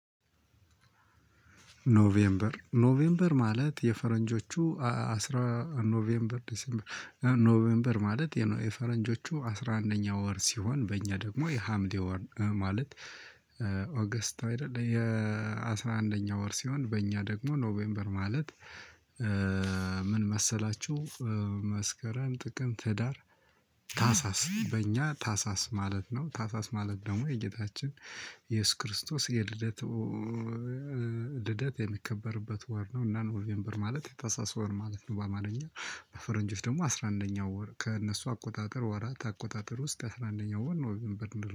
ኖቬምበር ኖቬምበር ማለት የፈረንጆቹ አስራ ኖቬምበር ዴሴምበር ማለት የፈረንጆቹ አስራ አንደኛ ወር ሲሆን በእኛ ደግሞ የሀምሌ ወር ማለት ኦገስት አይደለ የአስራ አንደኛው ወር ሲሆን በእኛ ደግሞ ኖቬምበር ማለት? ምን መሰላችሁ መስከረም ጥቅም ህዳር ታሳስ በእኛ ታሳስ ማለት ነው። ታሳስ ማለት ደግሞ የጌታችን የኢየሱስ ክርስቶስ የልደቱ ልደት የሚከበርበት ወር ነው። እና ኖቬምበር ማለት የታህሳሰ ወር ማለት ነው። በአማርኛ በፈረንጅፍ ደግሞ አስራ አንደኛው ወር ከእነሱ አቆጣጠር ወራት አቆጣጠር ውስጥ አስራ አንደኛው ወር ነው። ኖቬምበር የምንለው